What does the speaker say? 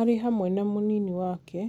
arĩ hamwe na mũnini wake,